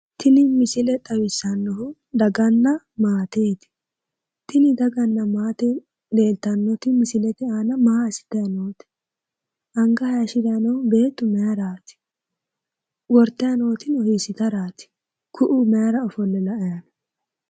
Tini misile xawissannohu daganna maateeti tini daganna maate leeltanoti misilete aana maa assutanni noote? Anga hayishiranni noohu beettu mayiraati? Wortayi nootino beetto hiissitaraati? Ku'u mayira ofolle la'ayi nooho?